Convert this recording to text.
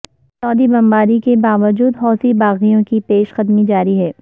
سعودی بمباری کے باوجود حوثی باغیوں کی پیش قدمی جاری ہے